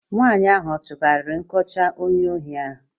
Nwaanyị ahụ ọ tụgharịrị nkọcha onye ohi ahu?